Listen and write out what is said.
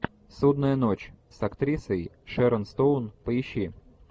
судная ночь с актрисой шэрон стоун поищи